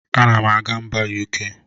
Anam aga mba UK.